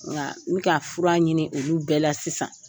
Nka n ka fura ɲini olu bɛɛ la sisan.